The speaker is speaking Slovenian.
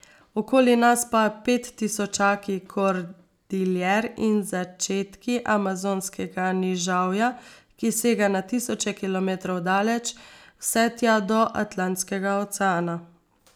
Okoli nas pa pettisočaki Kordiljer in začetki Amazonskega nižavja, ki sega na tisoče kilometrov daleč, vse tja do Atlantskega oceana.